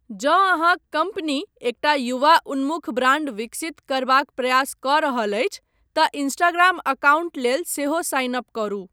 जँ अहाँक कम्पनी एकटा युवा उन्मुख ब्रांड विकसित करबाक प्रयास कऽ रहल अछि तँ इंस्टाग्राम अकाउंट लेल सेहो साइन अप करू।